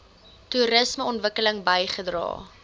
toerisme ontwikkeling bygedra